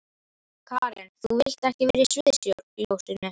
Karen: Þú vilt ekkert vera í sviðsljósinu?